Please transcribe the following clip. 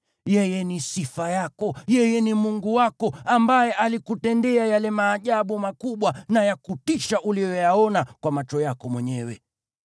Yeye ni sifa yako; yeye ni Mungu wako, ambaye alikutendea yale maajabu makubwa na ya kutisha uliyoyaona kwa macho yako mwenyewe.